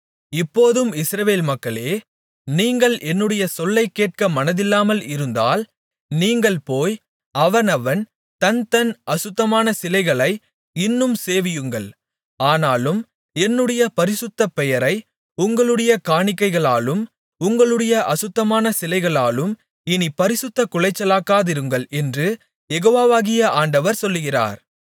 இப்போதும் இஸ்ரவேல் மக்களே நீங்கள் என்னுடைய சொல்லைக்கேட்க மனதில்லாமல் இருந்தால் நீங்கள் போய் அவனவன் தன் தன் அசுத்தமான சிலைகளை இன்னும் சேவியுங்கள் ஆனாலும் என்னுடைய பரிசுத்த பெயரை உங்களுடைய காணிக்கைகளாலும் உங்களுடைய அசுத்தமான சிலைகளாலும் இனிப் பரிசுத்தக் குலைச்சலாக்காதிருங்கள் என்று யெகோவாகிய ஆண்டவர் சொல்லுகிறார்